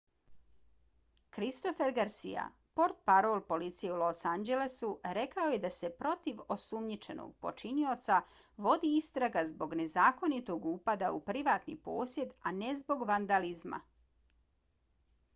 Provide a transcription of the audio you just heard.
christopher garcia portparol policije u los anđelesu rekao je da se protiv osumnjičenog počinioca vodi istraga zbog nezakonitog upada na privatni posjed a ne zbog vandalizma